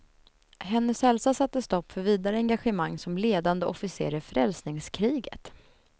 Hennes hälsa satte stopp för vidare engagemang som ledande officer i frälsningskriget.